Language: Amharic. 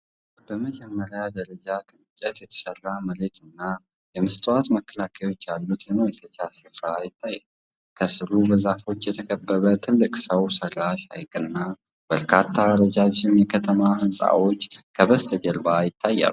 በመጀመሪያ ደረጃ ከእንጨት የተሠራ መሬት እና የመስታወት መከላከያዎች ያሉት የመመልከቻ ስፍራ ይታያል። ከስሩ በዛፎች የተከበበ ትልቅ ሰው ሠራሽ ሐይቅና በርካታ ረዣዥም የከተማ ሕንፃዎች ከበስተጀርባ ይታያሉ።